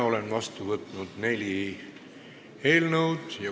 Olen vastu võtnud neli eelnõu.